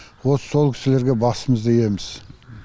вот сол кісілерге басымызды йеміз